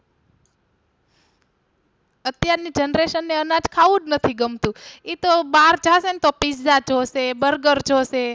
અત્યારની generation ને અનાજ ખાવું જ નથી ગમતું ઈ તો બહાર ખાસે ને તો Pizza જોશે Burger જોશે